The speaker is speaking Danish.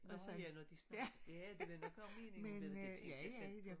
Nårh ja når de snakkede det var nok også meningen men det tænkte jeg slet ikke på